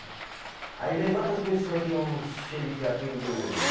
Aí levanta as pessoa que o xerife atendeu hoje.